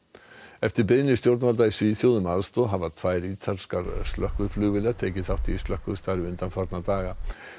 eftir beiðni stjórnvalda í Svíþjóð um aðstoð hafa tvær ítalskar tekið þátt í slökkvistarfi undanfarna daga